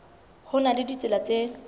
ho na le ditsela tse